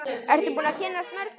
Ertu búin að kynnast mörgum?